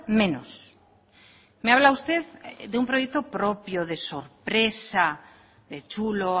menos me habla usted de un proyecto propio se sorpresa de chulo